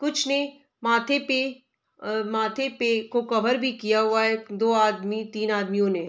कुछ ने माथे पे अ माथे पे को कवर भी किया हुआ है दो आदमी तीन आदमियों ने ।